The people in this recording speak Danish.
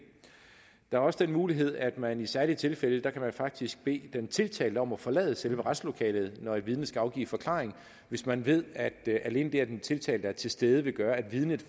der er også den mulighed at man i særlige tilfælde faktisk kan bede den tiltalte om at forlade selve retslokalet når et vidne skal afgive forklaring hvis man ved at alene det at den tiltalte er til stede vil gøre at vidnet